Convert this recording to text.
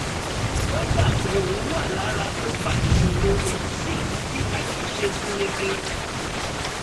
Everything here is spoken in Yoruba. ó gbà pé òun wà lára tó fa ìṣòro èyí sì mú kí àjọṣe gún régé